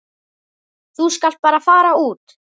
Þú skalt bara fara út.